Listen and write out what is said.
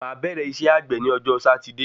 Máà bẹ̀rẹ́ isẹ́ àgbè ni ọjọ́ Sátidé